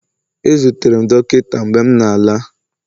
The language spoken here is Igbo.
ezutere m dọkịta mgbe m na-ala